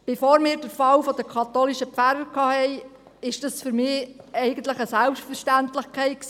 Bevor wir den Fall der katholischen Pfarrer hatten, war das für mich eigentlich eine Selbstverständlichkeit.